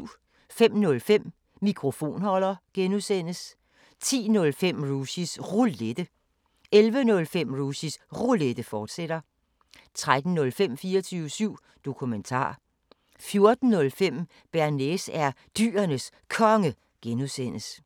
05:05: Mikrofonholder (G) 10:05: Rushys Roulette 11:05: Rushys Roulette, fortsat 13:05: 24syv Dokumentar 14:05: Bearnaise er Dyrenes Konge (G)